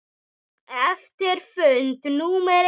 Eftir fund númer eitt.